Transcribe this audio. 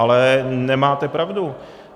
Ale nemáte pravdu.